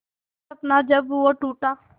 हर सपना जब वो टूटा